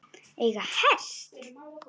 Eiga hest.